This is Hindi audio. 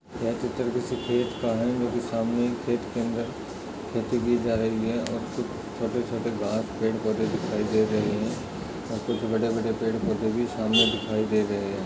ये पिक्चर किसी खेत का है जो की सामने खेत के अंदर खेती की जा रही है और कुछ छोटे-छोटे घास पेड़ पौधे दिखाई दे रहे है और कुछ बड़े बड़े पेड़ पौधे भी सामने दिखाई दे रहे है।